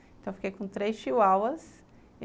Então, eu fiquei com três chihuahuas.